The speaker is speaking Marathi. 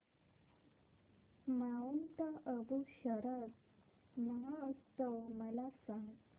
माऊंट आबू शरद महोत्सव मला सांग